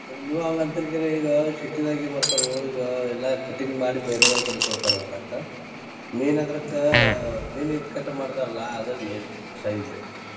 ಕರೆ ನೀವ ಹಂಗ ಅಂತೇರಿ ಕರೆ ಈಗಾ city ದಾಗ ಏನ ಮಾಡ್ತಾರು ಈಗ ಎಲ್ಲಾ cutting ಬೇರೆದವರ ಕಡೆ ಕೊಡ್ತಾರ ಹೊಲ್ಯಾಕ main ಅಂದ್ರ ಅದಕ್ಕ main ಏನ cut ಮಾಡ್ತಾರ್ಲಾ ಅದ main size ಲೆ.